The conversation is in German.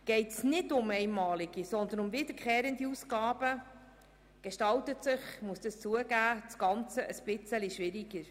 Geht es nicht um einmalige, sondern um wiederkehrende Ausgaben, gestaltet sich das Ganze etwas schwieriger, das muss ich zugeben.